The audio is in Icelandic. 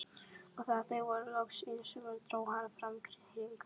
Og þegar þau voru loks einsömul dró hann fram hring.